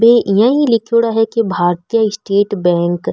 ये यही लीखेड़ा है की भारती स्टेट बैंक ।